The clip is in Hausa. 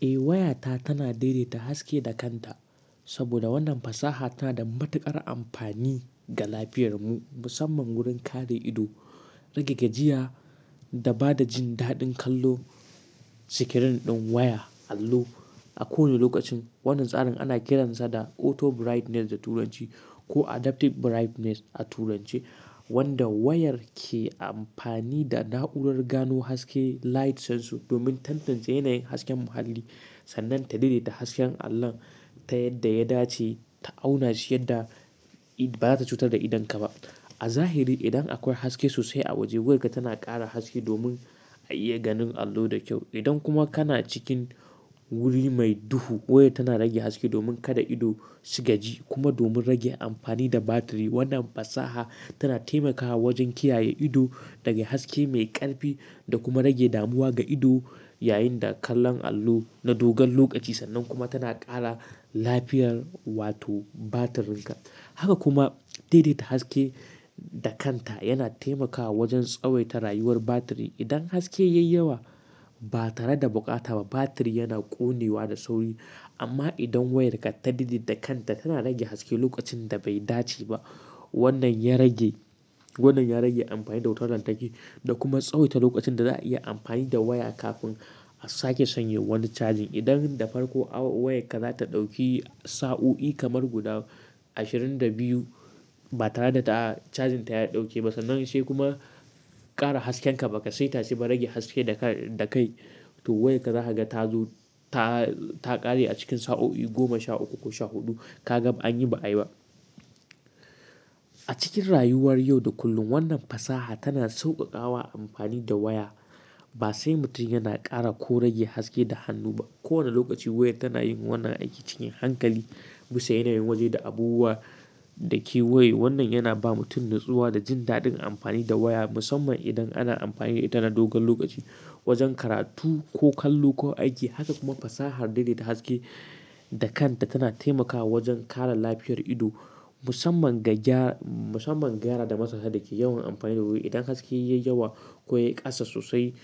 Eh, wayata tana daidaita haske da kanta saboda wannan fasaha tana da matuƙar amfani ga lafiyar mu, musamman wurin kare ido, rage gajiya da ba da jin daɗin kallo. Sikirin ɗin waya allo a kowane lokacin. Wannan tsarin ana kiransa da auto brightness da turanci ko adaptive brightness a turance, wanda wayar ke amfani da na'urar gano haske light sensor domin tantance yanayin hasken muhalli sannan ta daidaita hasken allon ta yadda ya dace ta auna shi yadda ba za ta cutar da idonka ba. A zahiri, idan akwai haske sosai a waje wayarka tana ƙara haske domin a iya ganin allo da kyau. Idan kuma kana cikin wuri mai duhu, wayar tana rage haske domin kada ido su gaji kuma domin rage amfani da batiri. Wannan fasaha tana taimakawa wajen kiyaye ido daga haske mai ƙarfi da kuma rage damuwa ga ido yayin da kallon allo na dogon lokaci sannan kuma tana ƙara lafiyar wato batirinka. Haka kuma daidaita haske da kanta yana taimakawa wajen tsawaita rayuwar batiri. Idan haske ya yi yawa ba tare da bukata ba, batiri yana ƙone wa da sauri. Amma idan wayarka ta daidaita kanta, tana rage haske lokacin da bai dace ba. Wannan ya rage, wannan ya rage amfani da wutar lantarki da kuma tsawaita lokacin da za'a iya amfani da waya kafin a sake sanya wani cajin. Idan da farko wayarka za ta ɗauki sa'o'i kamar guda ashirin da biyu ba tare da ta cajin ta ya ɗauke ba sannan sai kuma ƙara hasken ka, ba ka sai ta ce ba rage haske da ka-da kai to wayarka za ka ga ta zo ta, ta ƙare a cikin sa'o'i goma sha uku ko sha huɗu. Ka ga an yi ba'a yi ba. A cikin rayuwar yau da kullum wannan fasaha tana sauƙaƙawa amfani da waya. Ba sai mutum yana ƙara ko rage haske da hannu ba. Ko wane lokaci wayar tana yin wannan aiki cikin hankali bisa yanayin waje da abubuwa da kewaye. Wannan yana ba mutum natsuwa da jin daɗin amfani da waya, musamman idan ana amfani da ita na dogon lokaci wajen karatu ko kallo ko aiki. Haka kuma fasahar daidaita haske da kanta tana taimakawa wajen kare lafiyar ido musamman ga gyara, musamman gyara da matsasa dake yawan amfani da waya. Idan haske ya yi yawa, ko ya ƙasa sosai,